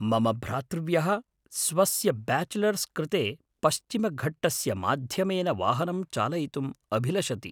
मम भ्रातृव्यः स्वस्य ब्याचेलर्स् कृते पश्चिमघट्टस्य माध्यमेन वाहनं चालयितुम् अभिलषति।